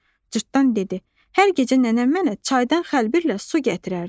Cırtdan dedi: "Hər gecə nənəm mənə çaydan xəlbirlə su gətirərdi."